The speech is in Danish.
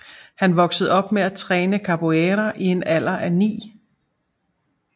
Han voksede op med at træne Capoeira i en alder af 9